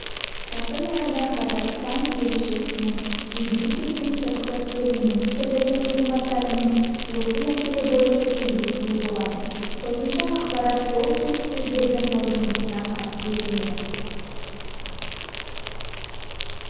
жақын арада қазақстан елшісінің египеттің сыртқы істер министрінің орынбасарымен осы мәселе бойынша кездесуі болады қосымша ақпарат сол келіссөздердің қорытындысына қарап беріледі